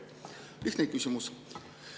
Lihtne küsimus.